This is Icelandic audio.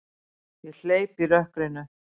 Ég hleyp í rökkrinu.